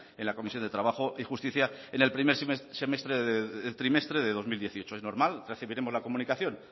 en la comisión de trabajo y justicia en el primer trimestre de dos mil dieciocho es normal recibiremos la comunicación